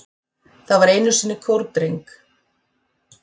Það var einu sinni kórdreng